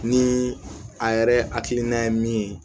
Ni a yɛrɛ hakilina ye min ye